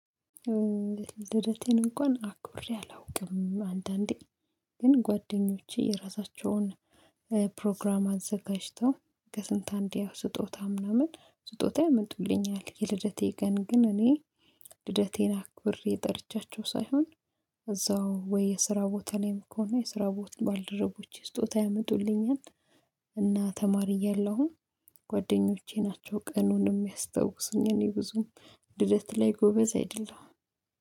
ልደቴን እንኳን አክብሬ አላውቅም አንዳንዴ ግን ጓደኞቼ የራሳቸውን ፕሮግራም አዘጋጅተው ከስንት አንዴ ያው ስጦታ ምናምን ስጦታ ያመጡልኛል የልደቴ ቀን ግን እኔ ልደቴን አክብሬ ጠርቻቸው ሳይሆን እዛው ወይ የስራ ቦታየ ላይ ከሆነ የስራ ቦታ ባልደረቦች ስጦታ ያመጡልኛል። እና ተማሪ እያለሁም ጓደኞቼ ናቸው ቀኑን የሚያስታውሱኝ እኔ ብዙም ልደት ላይ ጎበዝ አይደለሁም